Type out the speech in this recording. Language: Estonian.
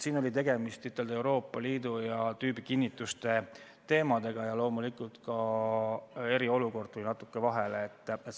Siin oli tegemist Euroopa Liidu ja tüübikinnituste teemadega ja loomulikult ka eriolukord tuli natuke vahele.